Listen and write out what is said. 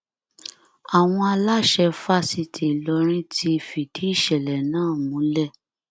àwọn aláṣẹ fásitì ìlọrin ti fìdí ìṣẹlẹ náà múlẹ